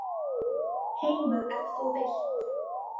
Heima ef þú vilt.